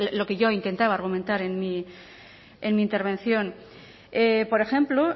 lo que yo intentaba argumentar en mi intervención por ejemplo